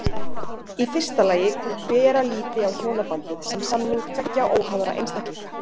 Í fyrsta lagi hvort beri að líta á hjónabandið sem samning tveggja óháðra einstaklinga.